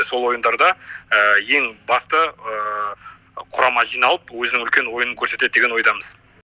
сол ойындарда ең басты құрама жиналып өзінің үлкен ойынын көрсетеді деген ойдамыз